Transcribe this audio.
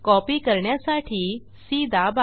copy करण्यासाठी C दाबा